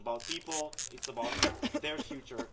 it's about people, it's about their future.